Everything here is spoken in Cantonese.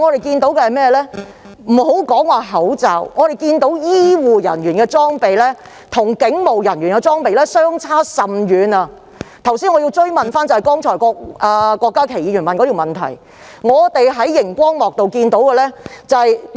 撇開口罩不說，我們看到醫護人員的防護裝備與警務人員實在相差甚遠，所以我想跟進郭家麒議員剛才提出的補充質詢。